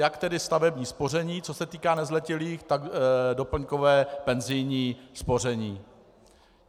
Jak tedy stavební spoření, co se týká nezletilých, tak doplňkové penzijní spoření.